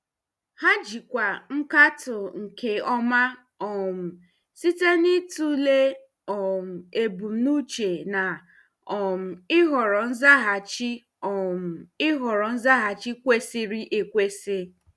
Ha jikwaa nkatọ nke ọma um site n'ịtụle um ebumnuche na um ịhọrọ nzaghachi um ịhọrọ nzaghachi kwesịrị ekwesị.